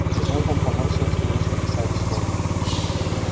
залпом поморщилась но вежливо сообщила